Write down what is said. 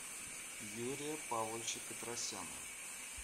юрия павловича петросяна